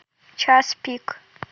час пик